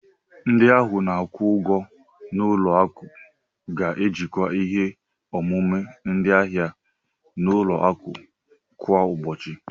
Ndị ahụ na-akwụ ụgwọ n'ụlọ akụ ga-ejikwa ihe omume ndị ahịa n'ụlọ akụ kwa ụbọchị.